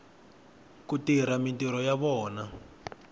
ku tirha mintirho ya vona